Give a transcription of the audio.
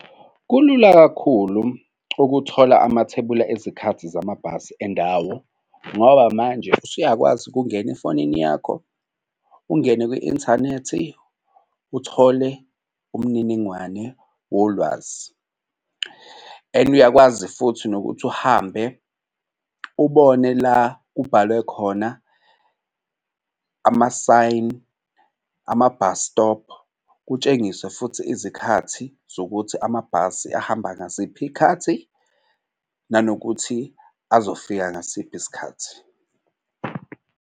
Kulula kakhulu ukuthola amathebula ezikhathi zamabhasi endawo ngoba manje usuyakwazi ukungena efonini yakho, ungene kwi-inthanethi uthole umniningwane wolwazi. And uyakwazi futhi nokuthi uhambe ubone la kubhalwe khona ama-sign ama-bus stop kutshengiswe futhi izikhathi zokuthi amabhasi ahamba ngasiphi iy'khathi nanokuthi azofika ngasiphi isikhathi.